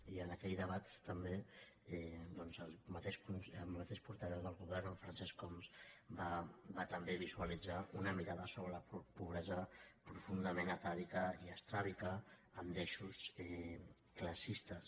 i en aquell debat també doncs el mateix portaveu del govern francesc homs va també visualitzar una mirada sobre la pobresa profundament atàvica i estràbica amb deixos classistes